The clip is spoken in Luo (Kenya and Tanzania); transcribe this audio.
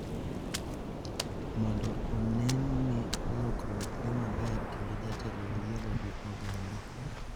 Mondo onen ni lokruok dhi maber kendo jatelo oyiego gi oganda.